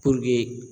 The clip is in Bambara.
Puruke